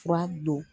Fura don